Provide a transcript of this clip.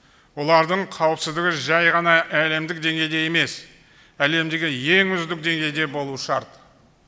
олардың қауіпсіздігі жай ғана әлемдік деңгейде емес әлемдегі ең үздік деңгейде болуы шарт